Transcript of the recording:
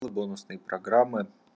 вот бонусные программы